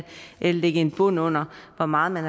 lægge en bund under hvor meget man